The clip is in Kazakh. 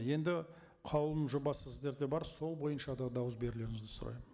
енді қаулының жобасы сіздерде бар сол бойынша да дауыс берулеріңізді сұраймын